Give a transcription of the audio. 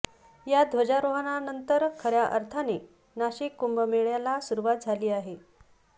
या ध्वजारोहणानंतर खऱ्या अर्थाने नाशिक कुंभमेळ्याला सुरुवात झाली आहे